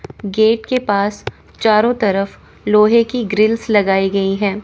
Gate के पास चारों तरफ लोहे की ग्रिल्स लगाई गई हैं।